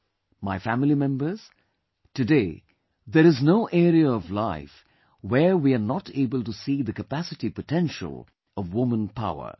My family members, today there is no area of life where we are not able to see the capacity potential of woman power